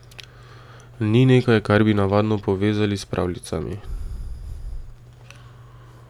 Ni nekaj, kar bi navadno povezali s pravljicami.